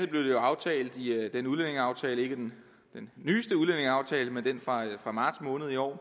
blev det aftalt i den udlændingeaftale ikke den nyeste udlændingeaftale men den fra marts måned i år